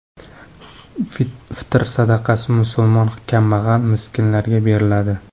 Fitr sadaqasi musulmon kambag‘al-miskinlarga beriladi .